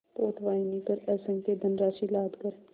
पोतवाहिनी पर असंख्य धनराशि लादकर